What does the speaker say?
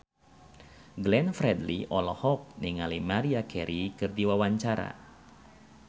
Glenn Fredly olohok ningali Maria Carey keur diwawancara